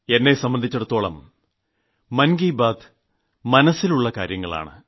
എന്നെ സംബന്ധിച്ചിടത്തോളം മൻ കി ബാത് മനസ്സിലുള്ള കാര്യങ്ങളാണ്